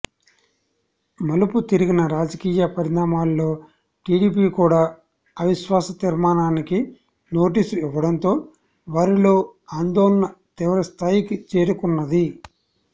మలుపు తిరిగిన రాజకీయ పరిణామాల్లో టిడిపి కూడా అవిశ్వాస తీర్మానానికి నోటీసు ఇవ్వటంతో వారిలో ఆందోళన తీవ్రస్ధాయికి చేరుకున్నది